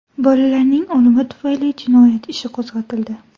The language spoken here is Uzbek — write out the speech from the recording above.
Bolalarning o‘limi tufayli jinoyat ishi qo‘zg‘atildi.